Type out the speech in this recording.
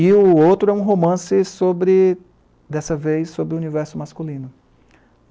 E o outro é um romance sobre, dessa vez, sobre o universo masculino.